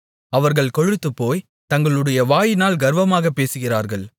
அவர்கள் கொழுத்துப்போய் தங்களுடைய வாயினால் கர்வமாக பேசுகிறார்கள்